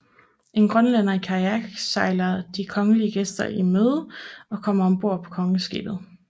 En grønlænder i kajak sejler de kongelige gæster i møde og kommer om bord på kongeskibet